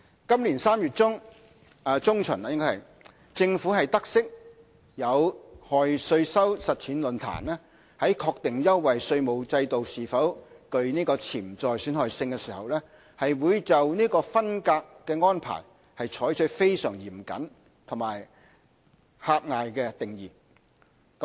今年3月中旬，政府得悉有害稅收實踐論壇在確定優惠稅務制度是否具潛在損害性時，會就"分隔"安排，採取非常嚴謹及狹隘的定義。